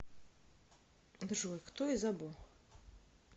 джой кто из або